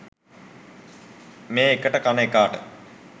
මේ එකට කන එකාට